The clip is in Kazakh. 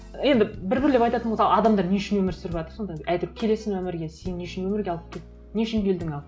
енді бір бірлеп айтатын болса адамдар не үшін өмір сүріватыр сонда әйтеуір келесің өмірге сені не үшін өмірге алып келді не үшін келдің ал